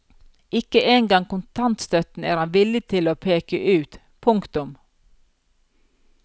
Ikke en gang kontantstøtten er han villig til å peke ut. punktum